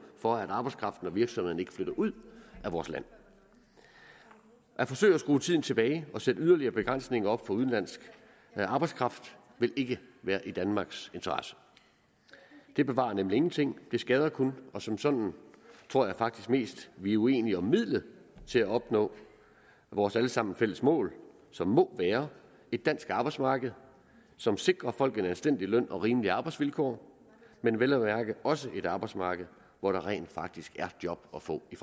for at arbejdskraften og virksomhederne ikke flytter ud af vores land at forsøge at skrue tiden tilbage og sætte yderligere begrænsninger op for udenlandsk arbejdskraft vil ikke være i danmarks interesse det bevarer nemlig ingenting det skader kun og som sådan tror jeg faktisk mest vi er uenige om midlet til at opnå vores alle sammens fælles mål som må være et dansk arbejdsmarked som sikrer folk en anstændig løn og rimelige arbejdsvilkår men vel at mærke også et arbejdsmarked hvor der rent faktisk er job at få i